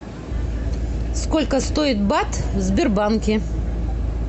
сколько стоит бат в сбербанке